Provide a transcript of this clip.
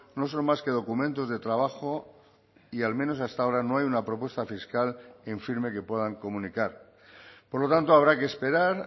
no son más que documentos de trabajo y al menos hasta ahora no hay una propuesta fiscal en firme que puedan comunicar por lo tanto habrá que esperar